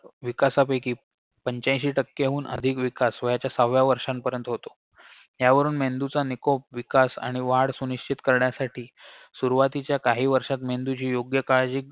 विकासापैकी पंच्याऐंशी टक्केहुन अधिक विकास वयाच्या सहाव्या वर्षापर्यंत होतो यावरून मेंदूचा निकोप विकास आणि वाढ सुनिश्चित करण्यासाठी सुरवातीच्या काही वर्षात मेंदूची योग्य काळजी